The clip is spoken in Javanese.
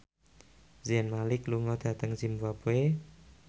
Zayn Malik lunga dhateng zimbabwe